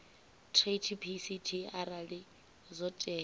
treaty pct arali zwo tea